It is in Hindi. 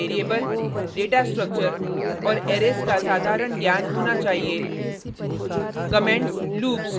आपको पर्ल में वेरिएबल डेटा स्ट्रक्चर और अरैज का साधारण ज्ञान होना चाहिए